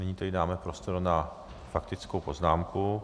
Nyní tedy dáme prostor na faktickou poznámku.